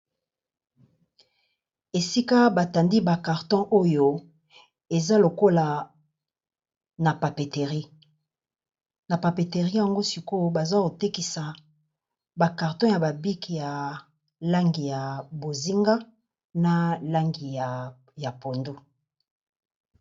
Ésika batandi ba carton oyo eza lokola na papéterie. Na papéterie yango sikoyo baza kotékisa ba carton ya ba bics ya langi ya bozinga na langi ya pondo.